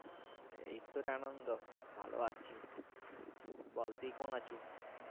এই তোর এ আনন্দ ভালোই আছি বল তুই কেমন আছো